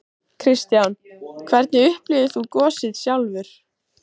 Kristján: Hvernig upplifðir þú gosið sjálfur?